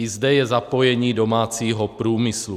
I zde je zapojení domácího průmyslu.